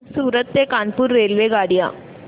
सूरत ते कानपुर रेल्वेगाड्या